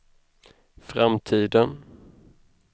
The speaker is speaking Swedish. framtiden